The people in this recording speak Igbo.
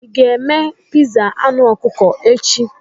Ị ga-eme pizza anụ ọkụkọ echi?